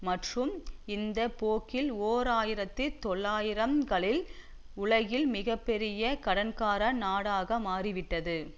மற்றும் இந்த போக்கில் ஓர் ஆயிரத்தி தொள்ளாயிரம் களில் உலகின் மிக பெரிய கடன்கார நாடாக மாறிவிட்டது